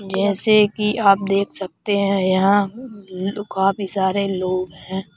जैसे कि आप देख सकते हैं यहां काफी सारे लोग हैं।